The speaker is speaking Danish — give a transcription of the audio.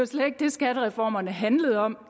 slet ikke det skattereformerne handlede om